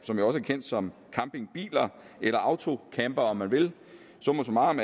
kendt som campingbiler eller autocampere om man vil summa summarum